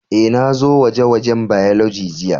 Eh, na zo gwaje-gwajen Biology jiya.